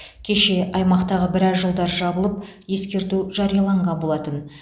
кеше аймақтағы біраз жолдар жабылып ескерту жарияланған болатын